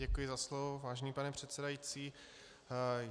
Děkuji za slovo, vážený pane předsedající.